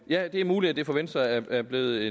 ja det er muligt at det for venstre er blevet